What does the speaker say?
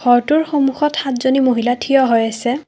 ঘৰটোৰ সন্মুখত সাতজনী মহিলা থিয় হৈ আছে।